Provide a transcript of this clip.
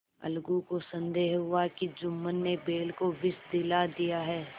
अलगू को संदेह हुआ कि जुम्मन ने बैल को विष दिला दिया है